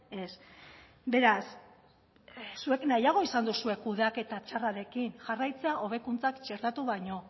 ez beraz zuek nahiago izan duzue kudeaketa txarrarekin jarraitzea hobekuntzak txertatu baino